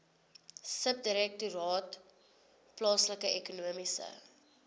subdirektoraat plaaslike ekonomiese